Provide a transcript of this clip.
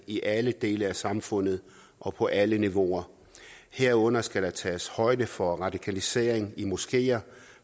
i alle dele af samfundet og på alle niveauer herunder skal der tages højde for radikalisering i moskéer